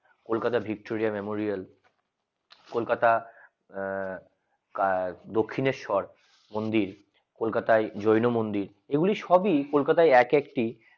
Kolkata Victoria Memorial Kolkata আহ দক্ষিণেশ্বর মন্দির কলকাতা যৌন মন্দির এগুলো ছবিকলকাতা এক একটি